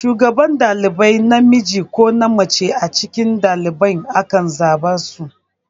Shugaban ɗalibai namiji ko mace a cikin ɗalibai ake zaben su.